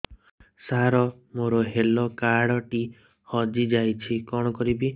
ସାର ମୋର health card ଟି ହଜି ଯାଇଛି କଣ କରିବି